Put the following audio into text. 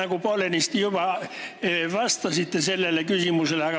Te poolenisti küll juba vastasite sellele küsimusele.